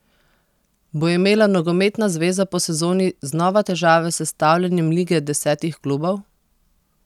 Bo imela nogometna zveza po sezoni znova težave s sestavljanjem lige desetih klubov?